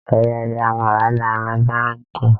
Àwọn ọmọ ìgbìmọ̀ máa lọ bá rẹ́ktọ̀.